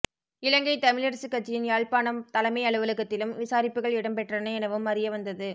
இலங்கைத் தமிழரசுக் கட்சியின் யாழ்ப்பாணம் தலைமை அலுவலகத்திலும் விசாரிப்புகள் இடம்பெற்றன எனவும் அறியவந்தது